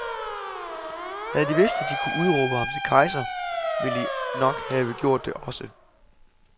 Havde de vidst, at de kunne udråbe ham til kejser, ville de nok have gjort det også.